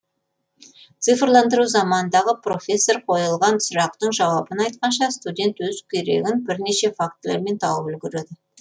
цифрландыру заманындағы профессор қойылған сұрақтың жауабын айтқанша студент өз керегін бірнеше фактілермен тауып үлгереді